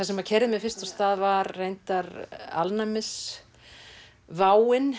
sem keyrði mig fyrst af stað var reyndar